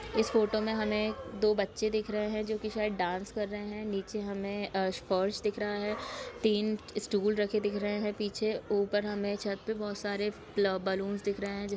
इस फोटो मे हमे दो बच्चे दिख रहें है जो की शायद डांस कर रहें है नीचे हमे स्पर्श दिख रहा है तीन टूल रखे दिख रहें है पीछे ऊपर हमे छत मे बोहोत सारे प्ला बलुंस दिखाई रहें है जिससे--